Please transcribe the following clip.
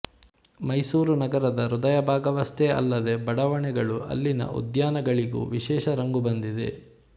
ಮೈಸೂರು ನಗರದ ಹೃದಯ ಭಾಗವಷ್ಟೇ ಅಲ್ಲದೇ ಬಡಾವಣೆಗಳು ಅಲ್ಲಿನ ಉದ್ಯಾನಗಳಿಗೂ ವಿಶೇಷ ರಂಗು ಬಂದಿದೆ